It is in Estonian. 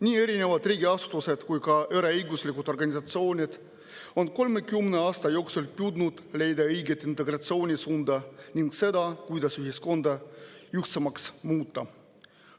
Nii erinevad riigiasutused kui ka eraõiguslikud organisatsioonid on 30 aasta jooksul püüdnud leida õiget integratsioonisuunda ning, kuidas ühiskonda ühtsemaks muuta.